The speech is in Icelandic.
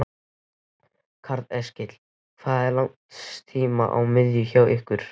Karl Eskil: Hvað er langt stím á miðin hjá ykkur?